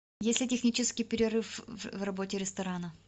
есть ли технический перерыв в работе ресторана